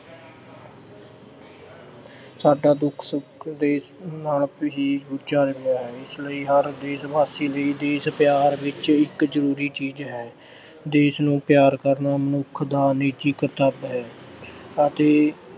ਸਾਡਾ ਦੁੱਖ-ਸੁੱਖ ਦੇਸ਼ ਅਹ ਨਾਲ ਹੀ ਚਲ ਰਿਹਾ ਹੈ। ਇਸ ਲਈ ਹਰ ਦੇਸ਼ ਵਾਸੀ ਲਈ ਦੇਸ਼ ਪਿਆਰ ਇੱਕ ਜਰੂਰੀ ਚੀਜ਼ ਹੈ ਦੇਸ਼ ਨੂੰ ਪਿਆਰ ਕਰਨਾ ਮਨੁੱਖ ਦਾ ਇੱਕ ਨਿੱਜੀ ਕਰਤੱਵ ਹੈ ਅਤੇ